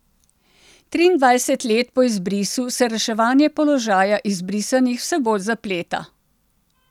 Triindvajset let po izbrisu se reševanje položaja izbrisanih vse bolj zapleta.